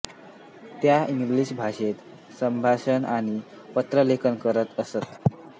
त्या इंग्रजी भाषेत संभाषण आणि पत्रलेखन करत असत